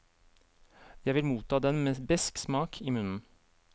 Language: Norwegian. Jeg vil motta den med besk smak i munnen.